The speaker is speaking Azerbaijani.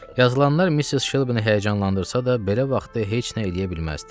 Yazılanlar Missis Şelbini həyəcanlandırsa da, belə vaxtda heç nə eləyə bilməzdi.